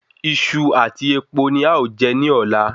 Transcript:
Iṣu àti epo ni a o jẹ ní ọ̀la